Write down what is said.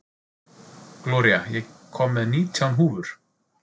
Gloría, ég kom með nítján húfur!